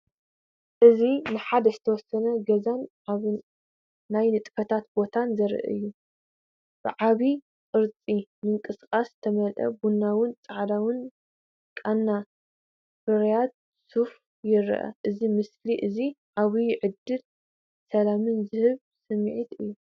እዚ ንሓደ ዝተወሰነ ገዛን ዓቢ ናይ ንጥፈታት ቦታን ዘርኢ እዩ። ብዓቢ ቅርጽን ምንቅስቓስን ዝተመልአ ቡናውን ጻዕዳን ቃና ፍርያት ሶፋ ይርአ። እዚ ምስሊ እዚ ዓቢ ዕድልን ሰላምን ዝብል ስምዒት ይህብ።